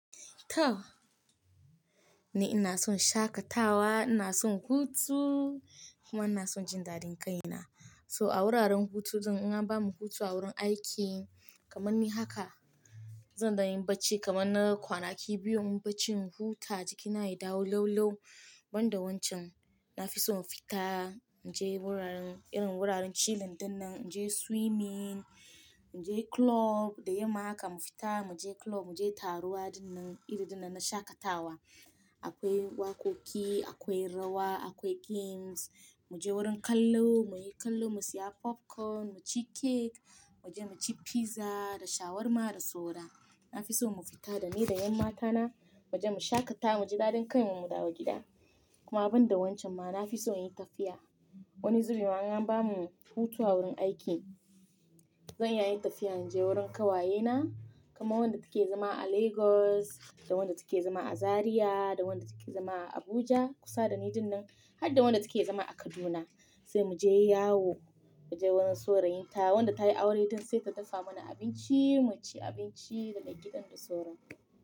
To! Ni ina son shakatawa, ina son hutu kuma ina son jin daɗin kai na. So a wuraren hutu din in an bamu hutu a wurin aiki kamar ni haka, zan da in yi barci kamar na kwanaki biyu in barci in huta jikina yayi dawo laulau. Banda wancan, na fi so mu fita, mu je wuraren irin wuraren chilling dinnan, mu je swimming, mu je club da yamma haka mu fita, mu je club, mu je taruwa dinnan iri dinnan na shakatawa. Akwai waƙoƙi, akwai rawa, akwai games, mu je wurin kallo, mu yi kallo, mu siya popcorn, mu ci cake, mu je mu ci pizza da shawarma da saura. Na fi so mu fita da ni da ƴan matana mu je mu shakata, mu ji daɗin kai mu da mu dawo gida. Kuma banda wancan ma na fi so in yi tafiya. Wani zubi ma in an bamu hutu a wurin aiki, zan iya yin tafiya in je wurin ƙawayena, kamar wadda take zama a Lagos da wadda take zama a Zariya da wadda take zama a Abuja kusa da ni dinnan har da wadda take zama a Kaduna sai mu je yawon mu je wurin saurayin ta wadda ta yi aure don sai ta dafa mana abinci mu ci abinci daga gidan da sauran.